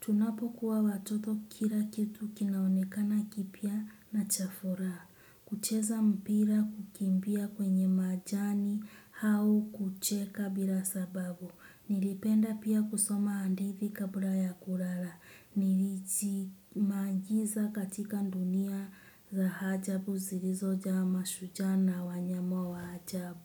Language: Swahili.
Tunapo kuwa watoto kira kitu kinaonekana kipia na chafuraha. Kucheza mpira kukimbia kwenye majani hau kucheka bila sababu. Nilipenda pia kusoma andithi kabla ya kurara. Nilichi maangiza katika ndunia za hajabu zirizoja hama shujana wa nyamo wa hajabu.